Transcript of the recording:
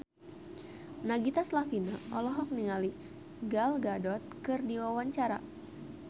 Nagita Slavina olohok ningali Gal Gadot keur diwawancara